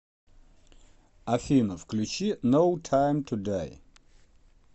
афина включи ноу тайм ту дай